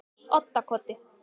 Oddakoti